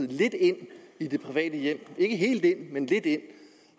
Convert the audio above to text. lidt ind i det private hjem ikke helt ind men lidt ind